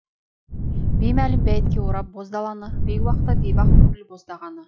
беймәлім бәйітке орап боз даланы бейуақта бейбақ көңіл боздағаны